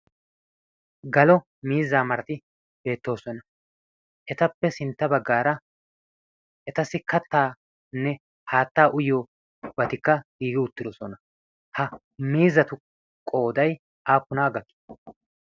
galo miizaa marati beettoosona etappe sintta baggaara etassi kattaanne haattaa uyyo batikka giigi uttidosona ha miizatu qooday aappunaa gakki